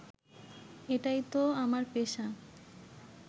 এটাই তো আমার পেশা